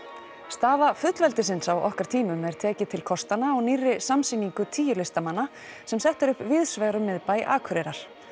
staða fullveldisins á okkar tímum er tekið til kostanna á nýrri samsýningu tíu listamanna sem sett er upp víðsvegar um miðbæ Akureyrar